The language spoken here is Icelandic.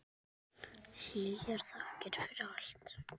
Hlýjar þakkir fyrir allt.